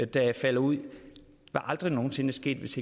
der falder ud var aldrig nogen sinde sket hvis